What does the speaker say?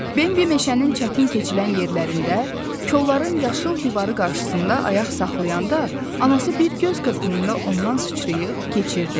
Bimbi meşənin çətin keçilən yerlərində, kolların yaşıl divarı qarşısında ayaq saxlayanda, anası bir göz qırpımında ondan sıçrayıb keçirdi.